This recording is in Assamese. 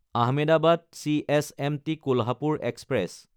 আহমেদাবাদ–চিএছএমটি কোলহাপুৰ এক্সপ্ৰেছ